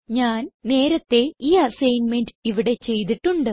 ഞാൻ നേരത്തേ ഈ അസൈൻമെന്റ് ഇവിടെ ചെയ്തിട്ടുണ്ട്